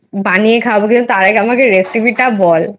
বানিয়ে খাওয়াবো তুই তার আগে আমাকে recipe টা বল?